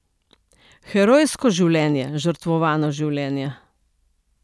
Herojsko življenje, žrtvovano življenje.